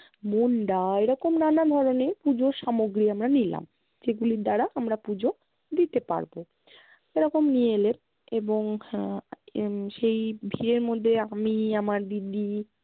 মুণ্ডা এরকম নানা ধরণের পূজোর সামগ্রী আমরা নিলাম, যেগুলির দ্বারা আমরা পূজো দিতে পারবো। এরকম নিয়ে এলেন এবং আহ এর সেই ভিড়ের মধ্যে আমি, আমার দিদি,